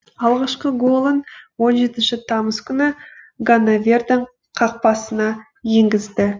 алғашқы голын он жетінші тамыз күні ганновердің қақпасына енгізді